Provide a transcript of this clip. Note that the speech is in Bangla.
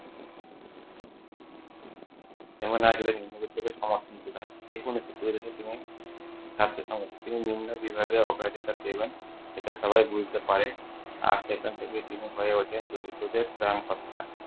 তিনি নিম্ন বিভাগে অগ্রাধিকার দেবেন এটা সবাই বুঝতে পারে। আর সেখান থেকে তিনি হয়ে ওঠেন দরিদ্রদের ত্রাণকর্তা।